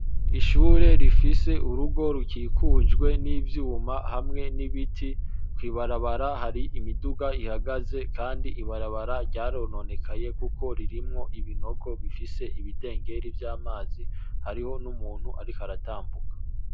Ishure rifise urugo rukikujwe n’ivyuma hamwe n’ibiti. Kw’ibarabara hari imiduga ihagaze kandi ibarabara ryarononekaye kuko ririmwo ibinogo bifise ibidengeri vy’amazi, hariho n’umuntu ariko aratambuka.